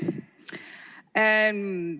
Tere!